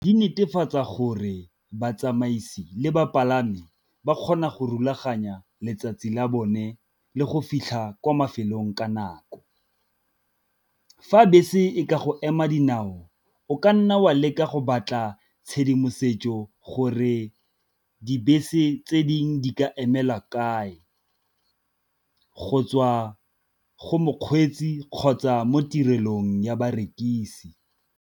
Di netefatsa gore batsamaisi le bapalami ba kgona go rulaganya letsatsi la bone le go fitlha kwa mafelong ka nako. Fa bese e ka go ema dinao o ka nna o leka go batla tshedimosetso gore dibese tse dingwe di ka emela kae, go tswa go mokgweetsi kgotsa mo tirelong ya barekisi.